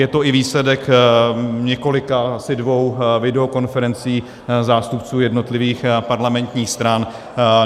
Je to i výsledek několika - asi dvou - videokonferencí zástupců jednotlivých parlamentních stran.